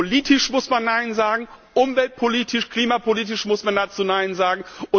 Politisch muss man Nein sagen, umweltpolitisch, klimapolitisch muss man dazu Nein sagen.